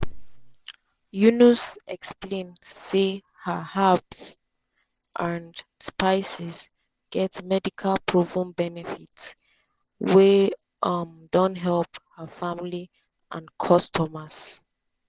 yunus explain say her herbs and spices get “medical proven benefits” wey um don help her family and customers.